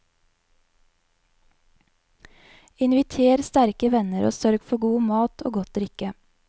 Inviter sterke venner og sørg for god mat og godt drikke.